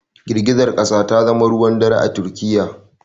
Girgizar kasa ta zama ruwan dare a Turkiyya